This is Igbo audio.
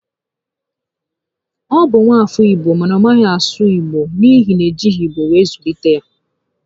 Ọ bụ nwa afọ Igbo mana ọ maghị asụ Igbo n'ihi na e jighi igbo were zụlite ya